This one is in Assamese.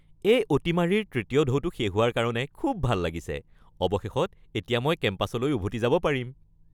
এই অতিমাৰীৰ তৃতীয় ঢৌটো শেষ হোৱাৰ কাৰণে খুব ভাল লাগিছে। অৱশেষত এতিয়া মই কেম্পাছলৈ উভতি যাব পাৰিম।